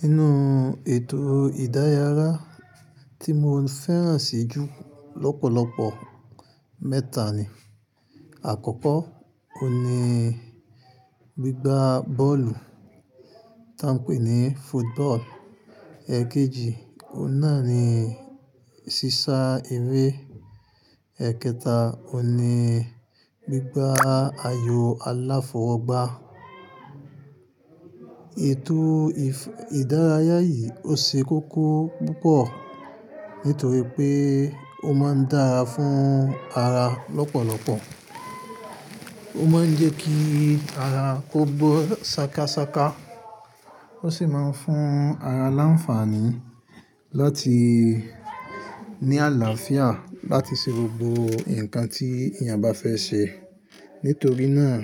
Nínú ètò ìdárayá tí mo fẹ́ràn sì jù lọ́pọ̀lọpọ̀ mẹ́ta ni. Àkọ́kọ́, ó ní gbígba bọ́ọ̀lù tí à ń pè ní football. Èkejì, ó náà ni sísá eré. Ẹ̀kẹta, ó ní gbígba ayò aláfọwọ́gbá. Ètò ìdárayá yìí ó ṣe kókó púpọ̀ nítorí pé ó máa ń dára fún ara lọ́pọ̀lọpọ̀. Ó máa ń jẹ́ kí ara kò gbó sákasáka. Ó sì máa ń fún ara láńfààní láti ní àlàáfíà láti ṣe gbogbo nǹkan tí èèyàn bá fẹ́ ṣe. Nítorí náà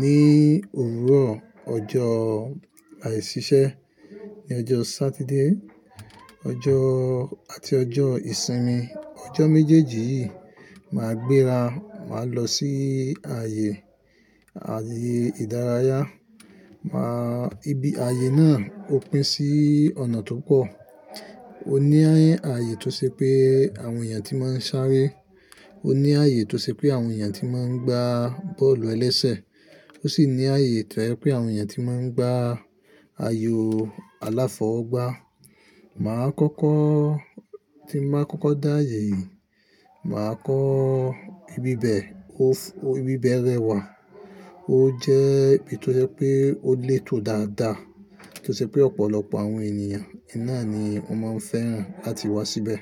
ní òwúrọ̀ ọjọ́ àìṣiṣẹ́, ní ọjọ́ Saturday àti ọjọ́ ìsinmi. Ọjọ́ méjèèjì yìí máa gbéra, máa lọ sí ààyè ìdárayá. Máa-- ìbí ààyè náà ó pín sí ọ̀nà tó pọ̀. Ó ní ààyè tó ṣe pé àwọn èèyàn tí máa ń sáré, ó ní ààyè tó ṣe pé àwọn èèyàn tí máa ń gbá bọ́ọ̀lù-ẹlẹ́sẹ̀, ó sì ní ààyè tóyẹ́ pé àwọn èèyàn tí máa ń gbá ayò aláfọwọ́gbá. Màá kọ́kọ́, tí màá kọ́kọ́ dá ààyè yìí, mà á kọ ibi bẹ̀. Ibi bẹ̀ rẹwà. Ó jẹ́ ibi tó jẹ́ pé ó lè tọ dáadáa tí ó ṣe pé ọ̀pọ̀lọpọ̀ àwọn ènìyàn iná ni wọ́n máa ń fẹ́ràn láti wá síbẹ̀.